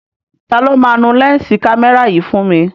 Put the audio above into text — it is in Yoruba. Taló máa nu lẹ́ǹsì kámẹ́rà yìí fún mi?